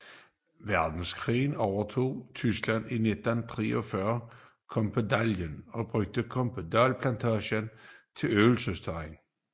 Verdenskrig overtog tyskerne i 1943 Kompedallejren og brugte Kompedal Plantage som øvelsesterræn